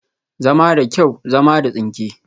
Zama da kyau, zama da tsinke